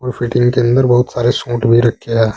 वो फिटिंग के अंदर बहुत सारे सूट भी रखेया--